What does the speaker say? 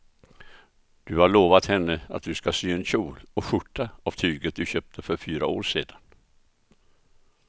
Du har lovat henne att du ska sy en kjol och skjorta av tyget du köpte för fyra år sedan.